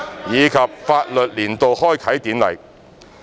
以及法律年度開啟典禮。